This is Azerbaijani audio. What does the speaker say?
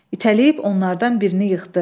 İtələyib onlardan birini yıxdı.